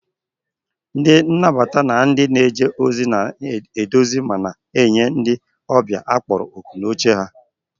Ndị nnabata na ndị na-eje ozi na-eduzi ma na-enye ndị ọbịa a kpọrọ òkù n'oche ha